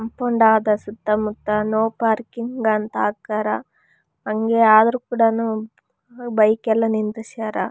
Compound ಆದ ಸುತ್ತ ಮುತ್ತ ನೋ ಪಾರ್ಕಿಂಗ್ ಅಂತ ಹಾಕ್ಯಾರ ಹಂಗೆ ಆದ್ರು ಕೂಡಾನು ಬೈಕ್ ಎಲ್ಲ ನಿಂದಿಸ್ಯಾರ.